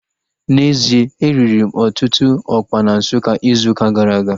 N'ezie, e riri m ọtụtụ ọkpa na Nsukka izu ụka gara aga